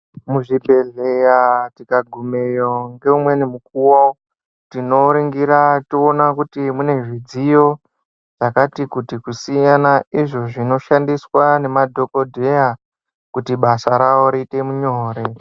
Muzvibhendleya tikagumayo ngeumweni mukuwo tinoringira toona kuti mune imweni midziyo yakati kuti kusiyana izvo zvinoshandiswa ngemadhokodheya kuti basa rawo riite nyore.